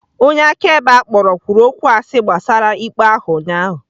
Onye akaebe a kpọrọ kwuru okwụ asị gbasara ikpe ahụ ụnyahụ.